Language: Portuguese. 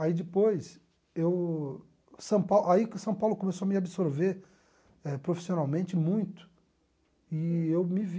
Aí depois, eu São Paulo aí que São Paulo começou a me absorver profissionalmente muito e eu me vi